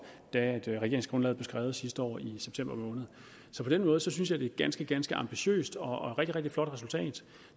da regeringsgrundlaget blev skrevet sidste år i september måned så på den måde synes jeg det er ganske ganske ambitiøst og et rigtig rigtig flot resultat